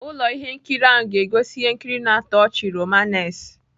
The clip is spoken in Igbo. Ụlọ ihe nkiri ahụ ga-egosi ihe nkiri na-atọ ọchị-romanace